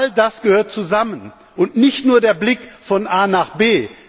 All das gehört zusammen, und nicht nur der Blick von A nach